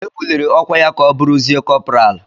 E buliri ọkwa ya ka ọ bụrụzie kọpral?